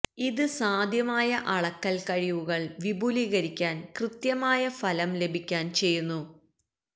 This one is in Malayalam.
ഇത് സാധ്യമായ അളക്കൽ കഴിവുകൾ വിപുലീകരിക്കാൻ കൃത്യമായ ഫലം ലഭിക്കാൻ ചെയ്യുന്നു